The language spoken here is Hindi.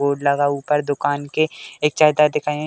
बोर्ड लगा ऊपर दुकान के एक --